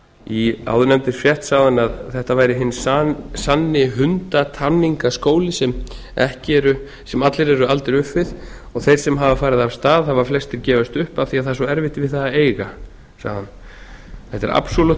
í áðurnefndri frétt sagði hann að þetta væri hinn sanni hundatamningaskóli sem allir eru aldir upp við og þeir sem hafa farið af stað hafa flestir gefist upp af því að það er svo erfitt við það að eiga sagði hann þetta er absolútt